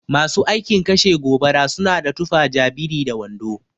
Masu aikin kashe gobara suna da tufa ja biri da wando.